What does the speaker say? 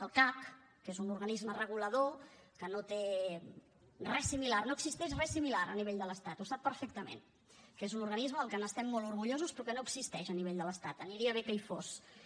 el cac que és un organisme regulador que no existeix res similar a nivell de l’estat ho sap perfectament que és un organisme del qual estem molt orgullosos però que no existeix a nivell de l’estat aniria bé que hi fos